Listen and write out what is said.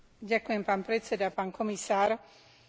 Viem, že v tomto sektore je veľa problémov.